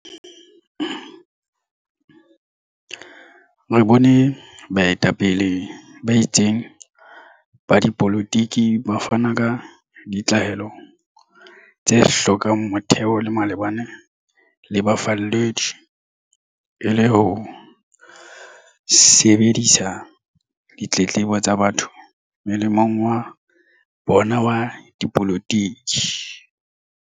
Re bone baetapele ba itseng ba dipolotiki ba fana ka ditlaleho tse hlokang motheo malebana le bafalledi, e le ho sebedisetsa ditletlebo tsa batho molemong wa bona wa dipolotiki.